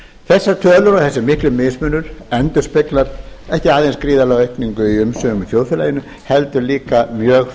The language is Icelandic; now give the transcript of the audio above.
þessar tölur og þessi mikli mismunur endurspeglar ekki aðeins gríðarlega aukningu í umsvifum í þjóðfélaginu heldur líka mjög